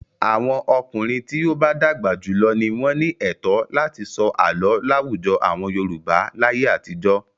Àwọn ọkùnrin tí ó bá dàgbà jù lọ ni wọ́n ní ẹ̀tọ́ láti sọ àlọ́ láwùjọ àwọn Yorùbá láyé àtijọ́.